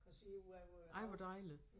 Kan se ud hvor vi er